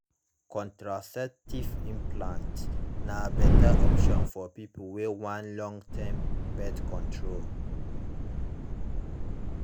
contraceptive implants na better option for people wey want long-term birth control